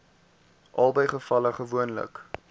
albei gevalle gewoonlik